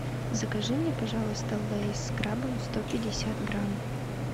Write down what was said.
закажи мне пожалуйста лейс с крабом сто пятьдесят грамм